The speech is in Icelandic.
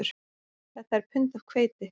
Þetta er pund af hveiti